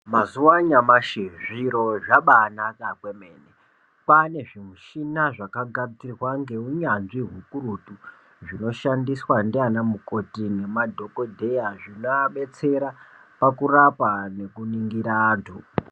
Mazuwa anyamashi zviro zvabanaka kwemene, kwane zvimuchina zvakanasirwa ngeunyanzvi ukurutu zvinoshandiswa ndiana mukoti nemadhokodheya zvinoabetsera oakurapa nekuningira antu.